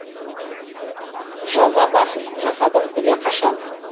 жаза басып жасадым күнә қашан